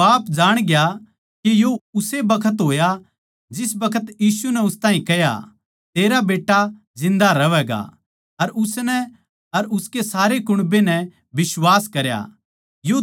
फेर बाप जाण गया के यो उस्से बखत होया जिस बखत यीशु नै उस ताहीं कह्या तेरा बेट्टा जिन्दा रहवैगा अर उसनै अर उसके सारे कुण्बे नै बिश्वास करया